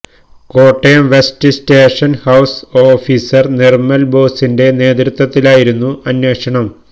Kottayam west station house officer Nirmal ബോസിന്റെ നേതൃത്വത്തിലായിരുന്നു അന്വേഷണം